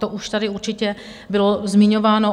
To už tady určitě bylo zmiňováno.